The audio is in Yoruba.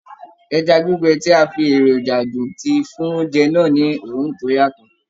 Ẹja gbígbẹ tí a fi èròjà dùn ti fún oúnjẹ náà ni òórùn tó yàtọ̀.